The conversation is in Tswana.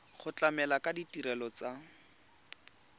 go tlamela ka ditirelo tsa